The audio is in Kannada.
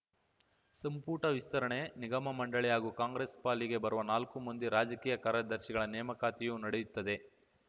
ಸಂಪುಟ ವಿಸ್ತರಣೆ ನಿಗಮ ಮಂಡಳಿ ಹಾಗೂ ಕಾಂಗ್ರೆಸ್‌ ಪಾಲಿಗೆ ಬರುವ ನಾಲ್ಕು ಮಂದಿ ರಾಜಕೀಯ ಕಾರ್ಯದರ್ಶಿಗಳ ನೇಮಕಾತಿಯೂ ನಡೆಯುತ್ತದೆ